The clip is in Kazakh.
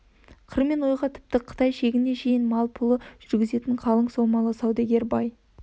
қыр мен ойға тіпті қытай шегіне шейін малы пұлын жүргізетін қалың сомалы саудагер бай